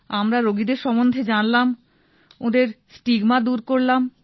আমরা রোগীদের সম্বন্ধে জানলাম ওঁদের স্টিগমা দূর করলাম